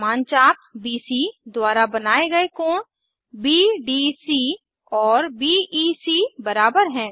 समान चाप बीसी द्वारा बनाये गए कोण बीडीसी और बीईसी बराबर हैं